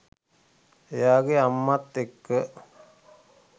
එයාගෙ අම්මත් එක්ක